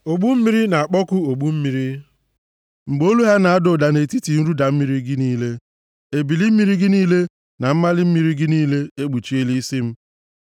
Ogbu mmiri na-akpọku ogbu mmiri mgbe olu ha na-ada ụda nʼetiti nruda mmiri gị niile; ebili mmiri gị niile na mmali mmiri gị niile ekpuchiela isi m.